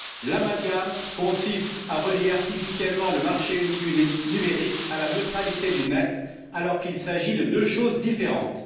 L'amalgame consiste à relier artificiellement le marché unique numérique à la neutralité du net alors qu'il s'agit de deux choses différentes.